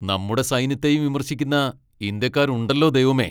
നമ്മുടെ സൈന്യത്തെയും വിമർശിക്കുന്ന ഇന്ത്യക്കാർ ഉണ്ടല്ലോ ദൈവമേ!